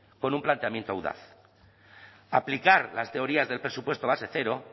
con un planteamiento audaz aplicar las teorías del presupuesto base cero